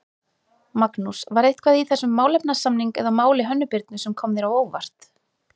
Magnús: var eitthvað í þessum málefnasamning eða máli Hönnu Birnu sem kom þér á óvart?